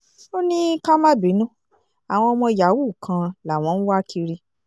ó ní ká má bínú àwọn ọmọ yahoo kan làwọn ń wá kiri